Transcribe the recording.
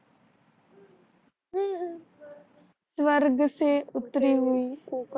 स्वर्ग से उत्तरी हुए